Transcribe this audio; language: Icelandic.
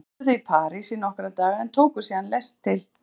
Fyrst dvöldu þau í París í nokkra daga en tóku síðan lest til